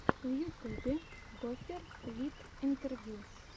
в ютюбе гофер вид интервью